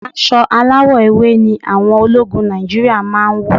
Aṣọ aláwọ̀ ewé ni àwọn ológun Nàìjíríà máa ń wọ̀.